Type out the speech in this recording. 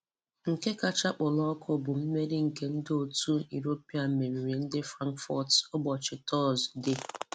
Nke kacha kpọrọ ọkụ bụ mmeri nke ndị òtù nke ndị òtù Europa meriri ndị Frankfurt ụbọchị Tọọzụde.